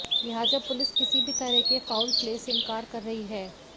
लिहाजा पुलिस किसी भी तरह के फाउल प्ले से इनकार कर रही है